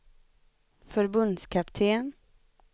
förbundskapten